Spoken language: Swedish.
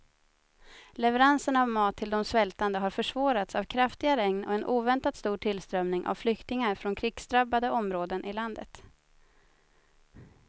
Leveranserna av mat till de svältande har försvårats av kraftiga regn och en oväntat stor tillströmning av flyktingar från krigsdrabbade områden i landet.